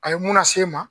A ye mun lase n ma